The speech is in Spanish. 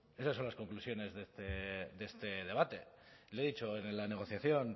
esas son las conclusiones de este debate le he dicho en la negociación